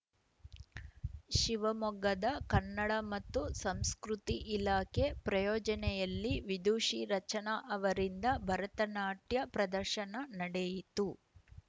ಶಿವಮೊಗ್ಗದ ಕನ್ನಡ ಮತ್ತು ಸಂಸ್ಕೃತಿ ಇಲಾಖೆ ಪ್ರಾಯೋಜನೆಯಲ್ಲಿ ವಿದುಷಿ ರಚನಾ ಅವರಿಂದ ಭರತನಾಟ್ಯ ಪ್ರದರ್ಶನ ನಡೆಯಿತು